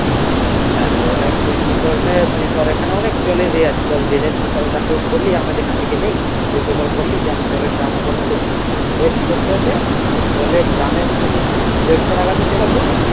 কি করবি তুই ধর এখানে অনেক জলের ইয়ে আছে তুই তাকে বললি আমরা যেখান থেকে নেই তুই এখানে বললি যে আমি জলের drum নিবো নতুন জলের drum এর দরুন দেড়শো টাকা দিতে হবে